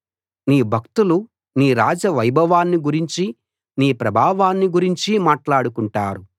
నీ భక్తులు నీ రాజ్యవైభవాన్ని గురించి నీ ప్రభావాన్ని గురించి మాట్లాడుకుంటారు